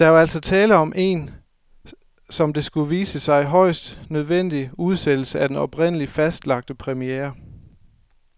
Der var altså tale om en, som det skulle vise sig, højst nødvendig udsættelse af den oprindeligt fastlagte premiere.